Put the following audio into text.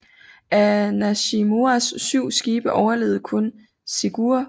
Af Nishimuras syv skibe overlevede kun Shigure